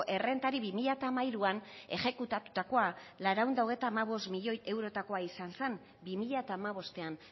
errentari bi mila hamairuan exekutatutakoa laurehun eta hogeita hamabost milioi eurotakoa izan zen bi mila hamabostean